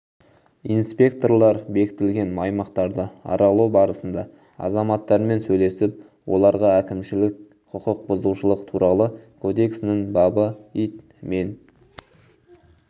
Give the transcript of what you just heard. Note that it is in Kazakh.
инспекторлар бекітілген аймақтарды аралау барысында азаматтармен сөйлесіп оларға әкімшілік құқық бұзушылық туралы кодексінің бабы ит мен